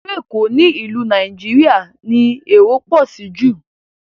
Ilu Ékò ni ìlú Nàìjíríà ti èrò pọ sí jù